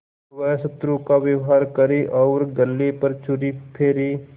वह शत्रु का व्यवहार करे और गले पर छुरी फेरे